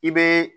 I bɛ